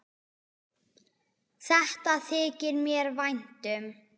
Þetta þykir mér vænt um.